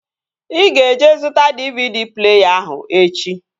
Ị ga-eje zụta DVD pleeya ahụ echi!